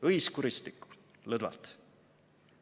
Õis kuristikku – lõdvalt."